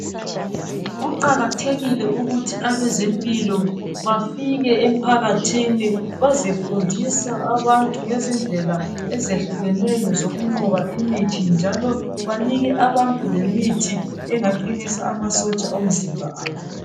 Kuqakathekile ukuthi abezempilakahle bafike emphakathini bazefundisa abantu ngezindlela ezehlukeneyo zokunqoba imithi njalo banike abantu lemithi engaqinisa amasotsha omzimba.